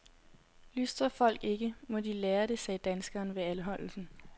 Lystrer folk ikke, må de lære det, sagde danskeren ved anholdelsen.